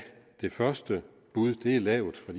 det første bud er lavt for